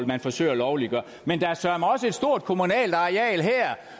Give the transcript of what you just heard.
man forsøger at lovliggøre men der er søreme også et stort kommunalt areal her